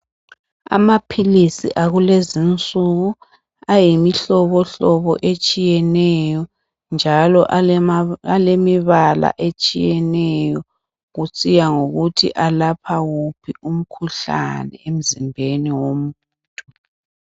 Amaphilisi akulezinsuku ayimihlobohlobo etshiyeneyo, njalo alemibala etshiyeneyo kusiya ngokuthi alapha wuphi umkhuhlane emzimbeni womuntu.